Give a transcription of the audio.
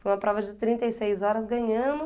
Foi uma prova de trinta e seis horas, ganhamos.